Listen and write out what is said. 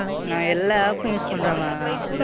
நான் எல்லா App உம் Use பண்றேன். Mam.